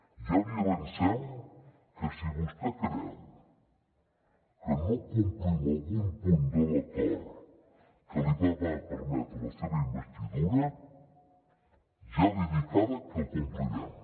ja li avancem que si vostè creu que no complim algun punt de l’acord que va permetre la seva investidura ja li dic ara que el complirem